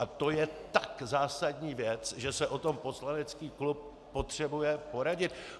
A to je tak zásadní věc, že se o tom poslanecký klub potřebuje poradit.